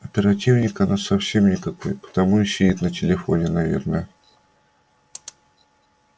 оперативник она совсем никакой потому и сидит на телефоне наверное